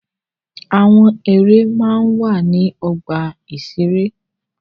Àwọn ère máa ń wà ní ọgbà-ìṣeré.